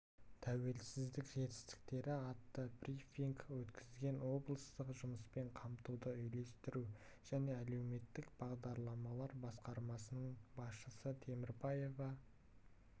тәуелсіздік жетістіктері атты брифинг өткізген облыстық жұмыспен қамтуды үйлестіру және әлеуметтік бағдарламалар басқармасының басшысы темірбаева